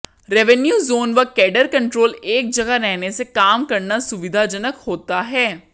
revenue zone व cadre control एक जगह रहने से काम करना सुविधाजनक होता है